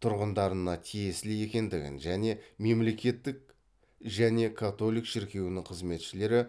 тұрғындарына тиесілі және католик шіркеуінің қызметшілері